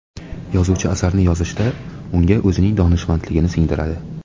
Yozuvchi asarni yozishda, unga o‘zining donishmandligini singdiradi.